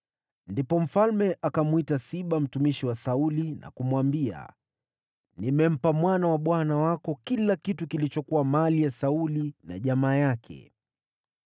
Ndipo mfalme akamwita Siba mtumishi wa Sauli na kumwambia, “Nimempa mwana wa bwana wako kila kitu kilichokuwa mali ya Sauli na jamaa yake.